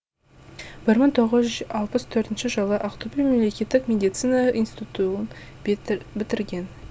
бір мың тоғыз жүз алпыс төртінші жылы ақтөбе мемлекеттік медицина институтуын бітірген